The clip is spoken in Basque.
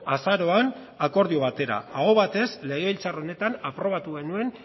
azaroan akordio batera aho batez legebiltzar honetan aprobatu genuen